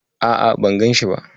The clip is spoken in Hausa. A'a, ban ganshi ba.